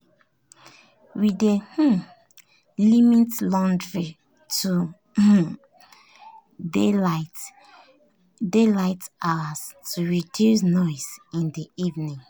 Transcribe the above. we dey um limit laundry to um daytime hours to reduce noise in the evening.